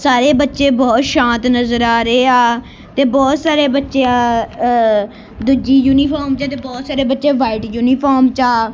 ਸਾਰੇ ਬੱਚੇ ਬਹੁਤ ਸ਼ਾਂਤ ਨਜ਼ਰ ਆ ਰਿਹੇ ਆ ਤੇ ਬਹੁਤ ਸਾਰੇ ਬੱਚੇ ਅ ਦੂਜੀ ਯੂਨੀਫਾਰਮ ਦੇ ਤੇ ਬਹੁਤ ਸਾਰੇ ਬੱਚੇ ਵਾਈਟ ਯੂਨੀਫਾਰਮ 'ਚ ਆ।